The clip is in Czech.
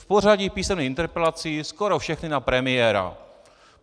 V pořadí písemných interpelací skoro všechny na premiéra!